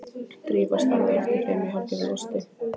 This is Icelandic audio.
Drífa starði á eftir þeim í hálfgerðu losti.